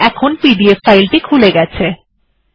এবং এখন PDF reader খুলে গেছে